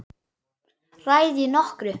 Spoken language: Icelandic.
Ræð ég nokkru?